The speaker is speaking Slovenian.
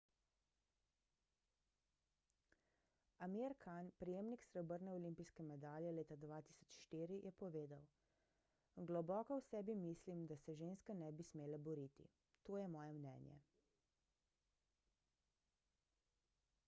amir khan prejemnik srebrne olimpijske medalje leta 2004 je povedal globoko v sebi mislim da se ženske ne bi smele boriti to je moje mnenje